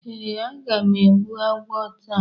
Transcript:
Ee, aga m egbbu agwo taa.